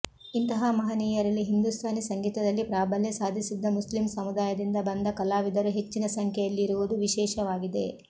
ಇಂತಹ ಮಹನೀಯರಲ್ಲಿ ಹಿಂದೂಸ್ಥಾನಿ ಸಂಗೀತದಲ್ಲಿ ಪ್ರಾಬಲ್ಯ ಸಾಧಿಸಿದ್ದ ಮುಸ್ಲಿಂ ಸಮುದಾಯದಿಂದ ಬಂದ ಕಲಾವಿದರು ಹೆಚ್ಚಿನ ಸಂಖ್ಯೆಯಲ್ಲಿರುವುದು ವಿಶೇಷವಾಗಿದೆ